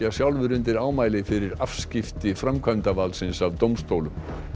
undir ámæli fyrir afskipti framkvæmdavaldsins af dómstólum